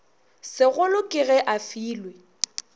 segolo ke ge a filwe